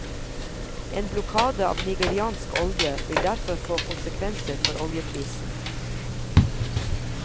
En blokade av nigeriansk olje vil derfor få konsekvenser for oljeprisen.